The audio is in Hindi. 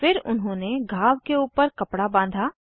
फिर उन्होंने घाव के ऊपर कपडा बाँधा